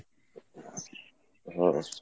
হম